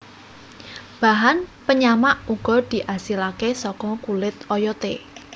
Bahan penyamak uga diasilake saka kulit oyote